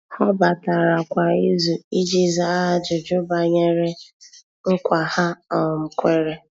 Há batara kwa ìzù iji zàá ájụ́jụ́ banyere nkwa ha um kwèrè.